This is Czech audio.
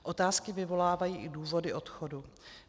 Otázky vyvolávají i důvody odchodu.